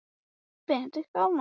En hver sem orsökin var þá fór ég.